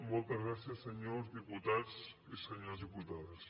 moltes gràcies senyors diputats i senyores diputades